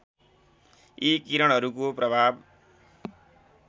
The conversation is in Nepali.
यी किरणहरूको प्रभाव